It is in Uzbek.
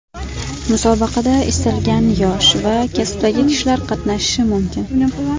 Musobaqada istalgan yosh va kasbdagi kishilar qatnashishi mumkin.